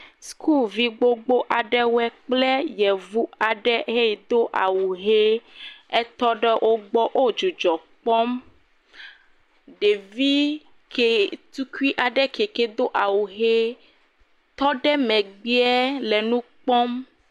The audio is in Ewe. Sukuvi gbogbo aɖe kple yecu aɖe he yido awu ʋi. etɔ ɖe wogbɔ, wo dzidzɔ kpɔm, ɖevi ke he tukui aɖe ke he do awu ʋi tɔ ɖe megbea le nu kpɔm.